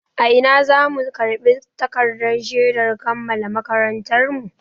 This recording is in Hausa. A ina za mu karɓi takardar shedar kammala makarantarmu?